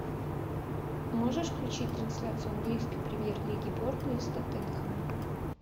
можешь включить трансляцию английской премьер лиги бернли с тоттенхэмом